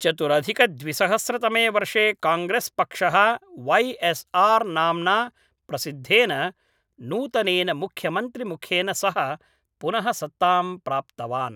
चतुरधिकद्विसहस्रतमे वर्षे काङ्ग्रेस् पक्षः Y S R नाम्ना प्रसिद्धेन नूतनेन मुख्यमन्त्रिमुखेन सह पुनः सत्तां प्राप्तवान् ।